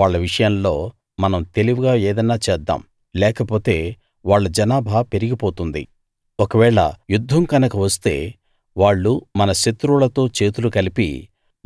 వాళ్ళ విషయంలో మనం తెలివిగా ఏదన్నా చేద్దాం లేకపోతే వాళ్ళ జనాభా పెరిగిపోతుంది ఒకవేళ యుద్ధం గనక వస్తే వాళ్ళు మన శత్రువులతో చేతులు కలిపి